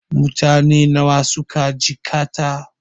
Mutane nawa suka jikkata?